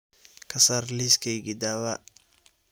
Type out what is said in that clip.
ka saar liiskaygii dhawaa